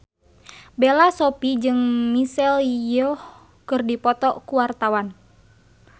Bella Shofie jeung Michelle Yeoh keur dipoto ku wartawan